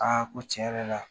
ko tiɲɛ yɛrɛ la,